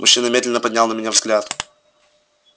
мужчина медленно поднял на меня взгляд